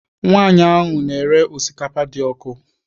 Nwaanyị ahụ na-ere osikapa dị ọkụ.